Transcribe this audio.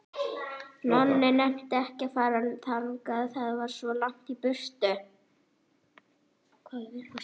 Nonni nennti ekki að fara þangað, það var svo langt í burtu.